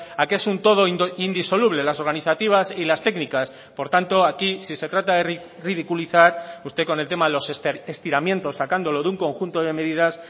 a que es un todo indisoluble las organizativas y las técnicas por tanto aquí si se trata de ridiculizar usted con el tema de los estiramientos sacándolo de un conjunto de medidas